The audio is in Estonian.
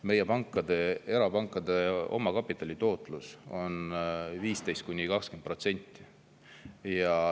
Meie erapankade omakapitali tootlus on 15–20%.